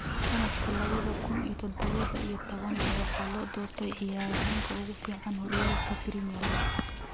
Sanadka lawadha kun iyo dadawa iyo towan, waxaa loo doortay ciyaaryahanka ugu fiican horyaalka Premier League.